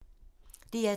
DR2